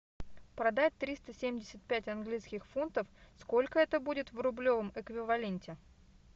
продать триста семьдесят пять английских фунтов сколько это будет в рублевом эквиваленте